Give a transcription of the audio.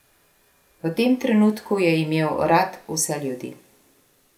V tem trenutku je imel rad vse ljudi.